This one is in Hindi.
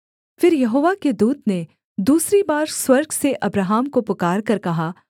फिर यहोवा के दूत ने दूसरी बार स्वर्ग से अब्राहम को पुकारकर कहा